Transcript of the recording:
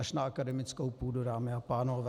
Až na akademickou půdu, dámy a pánové.